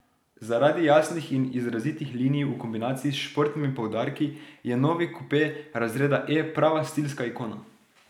Zaradi jasnih in izrazitih linij v kombinaciji s športnimi poudarki je novi kupe razreda E prava stilska ikona.